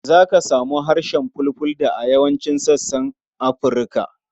Za ka samu harshen Fulfulde a yawancin sassan Afirka.